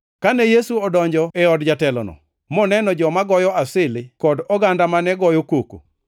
Kane Yesu odonjo e od jatelono, moneno joma goyo asili kod oganda mane goyo koko,